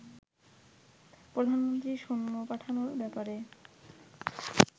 প্রধানমন্ত্রী সৈন্য পাঠানোর ব্যাপারে